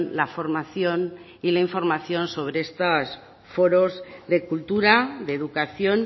la formación y la información sobre estos foros de cultura de educación